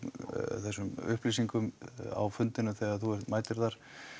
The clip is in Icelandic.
þessum upplýsingum á fundinum þegar þú mætir þar